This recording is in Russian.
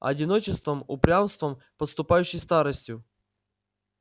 одиночеством упрямством подступающей старостью